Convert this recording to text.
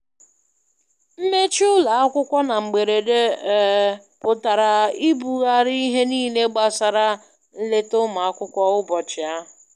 Mmechi ụlọakwụkwọ na mgberede, um pụtara ibugharị ihe niile gbasara nleta ụmụ akwụkwọ ụbọchị ahụ.